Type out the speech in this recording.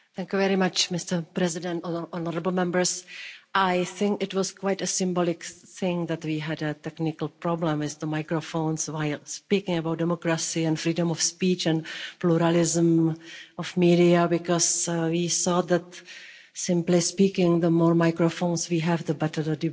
Mr President, honourable Members, I think it was quite a symbolic thing that we had a technical problem with the microphones while speaking about democracy and freedom of speech and pluralism of media, because we saw that simply speaking, the more microphones we have the better the debate is.